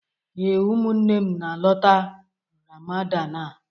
Ee, ụmụnne m na-alọta Ramadan a.